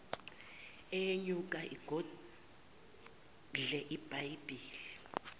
uyenyuka ugodle ibhayibheli